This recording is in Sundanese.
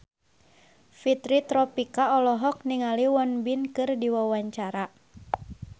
Fitri Tropika olohok ningali Won Bin keur diwawancara